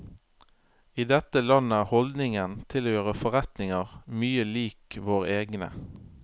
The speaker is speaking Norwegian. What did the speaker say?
I dette landet er holdningen til å gjøre forretninger mye lik våre egne.